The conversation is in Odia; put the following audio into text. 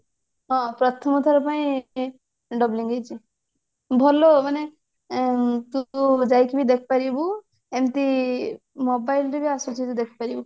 ହଁ ପ୍ରଥମ ଥର ପାଇଁ doubling ହେଇଛି ଭଲ ମାନେ ଉଁ ତୁ ଯାଇକିରି ଦେଖି ପାରିବୁ ଏମତି mobile ରେ ବି ଆସୁଛି ବି ଦେଖି ପାରିବୁ